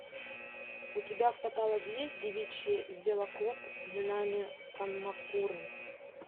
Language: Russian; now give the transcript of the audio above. у тебя в каталоге есть девичий велоклуб минами камакуры